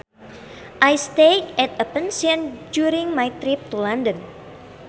I stayed at a pension during my trip to London